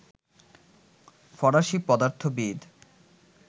ফরাসি পদার্থবিদ